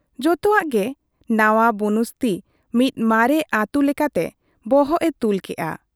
ᱡᱚᱛᱚᱣᱟᱜ ᱜᱮ ᱱᱟᱶᱟ ᱵᱩᱱᱩᱥᱛᱤ ᱢᱤᱫ ᱢᱟᱨᱮ ᱟᱹᱛᱩ ᱞᱮᱠᱟᱛᱮ ᱵᱚᱦᱚᱜ ᱮ ᱛᱩᱞ ᱠᱮᱜ ᱟ ᱾